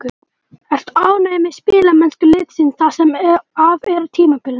Ertu ánægð með spilamennsku liðsins það sem af er tímabilinu?